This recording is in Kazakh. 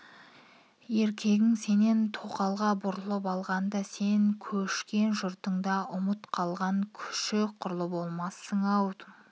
еркегің сенен тоқалға бұрылып алғанда сен көшкен жұртында ұмыт қалған күшік құрлы болмассын-ау ә-ә